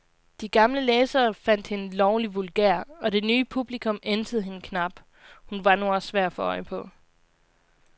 De gamle læsere fandt hende lovlig vulgær, og det nye publikum ænsede hende knap, hun var nu også svær at få øje på.